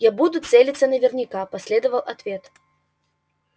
а я буду целиться наверняка последовал ответ